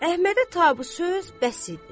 Əhmədə tabu söz bəs idi.